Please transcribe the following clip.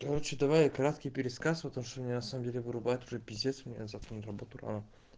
короче давай краткий пересказ потому что меня на самом деле вырубает уже пиздец мне завтра на работу рано